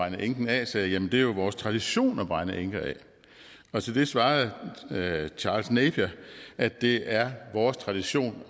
en enke af sagde jamen det er jo vores tradition at brænde enker af til det svarede charles napier at det er vores tradition